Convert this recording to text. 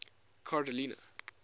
carolina